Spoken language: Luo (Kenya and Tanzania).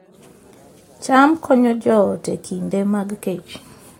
cham konyo joot e kinde mag kech